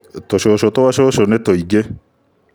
Tũcũcũtwa cũcũnĩ tũingĩ